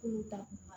Kulu ta